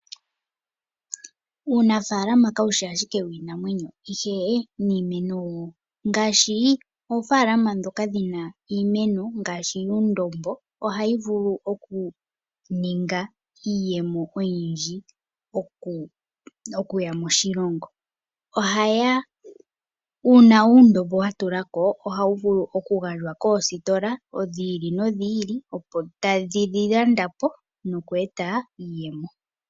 Uunafaalama kawushi ashike wiinamwenyo ihe niimeno woo . Ngaashi oofalalama ndhoka dhina iimeno ngaashi yuundombo ohadhi vulu okuninga iiyemo oyindji oku ya moshilongo. Uuna uundombo watulako ohawu vulu okugandjwa koositola dhi ili nodhi ili dho tadhi wu landa po nokweeta iiyemo.